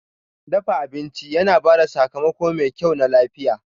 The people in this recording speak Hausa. Dafa abinci yana ba da sakamako mai kyau na lafiya.